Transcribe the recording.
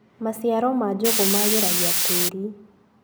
Maciaro ma njugũ magĩragia tĩĩri.